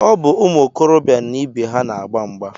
Ọ bụ ụmụ okorobịa na ibe ha na-agba mgba